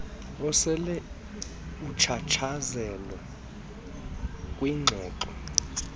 osel uchatshazelwe kwingxoxo